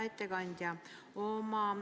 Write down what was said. Hea ettekandja!